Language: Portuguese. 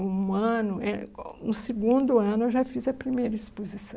Um ano, eh, um segundo ano eu já fiz a primeira exposição.